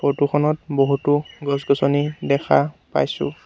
Photo খনত বহুতো গছ গছনি দেখা পাইছোঁ।